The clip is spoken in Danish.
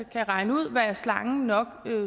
kan regne ud hvad slangen nok